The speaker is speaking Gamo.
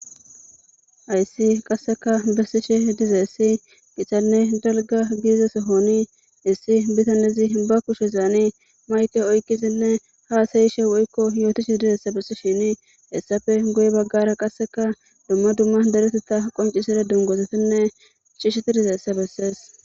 Hayssi qasseka bessishi dize essi qichanne dalga giizeso honi issi bitanezi ba kushe zaani mayte oykizinne haasayishe woykko yootishi dizaessa bessishini essafe goy baggara qasseka dumma dumma dereteta qonciside dungosetinne cishsheti diza essa bessees.